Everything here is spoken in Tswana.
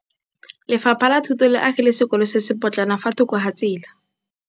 Lefapha la Thuto le agile sekôlô se se pôtlana fa thoko ga tsela.